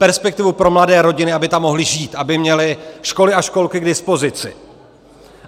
Perspektivu pro mladé rodiny, aby tam mohly žít, aby měly školy a školky k dispozici.